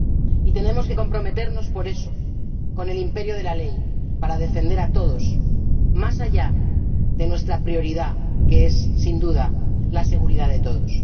Y tenemos que comprometernos, por eso, con el imperio de la ley para defender a todos, más allá de nuestra prioridad, que es, sin duda, la seguridad de todos.